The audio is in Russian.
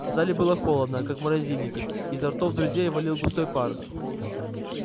в зале было холодно как в морозильнике изо ртов друзей валил густой пар